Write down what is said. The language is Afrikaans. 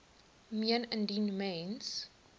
meen indien mens